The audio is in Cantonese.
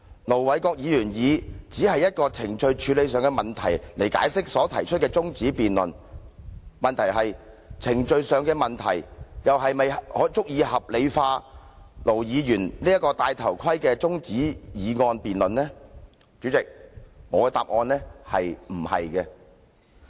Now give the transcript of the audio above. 盧議員以程序處理問題來解釋他動議中止待續議案一事，但問題是，程序處理問題是否足以合理化盧議員這項"戴頭盔"的中止待續議案呢？